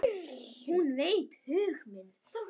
Hún veit hug minn.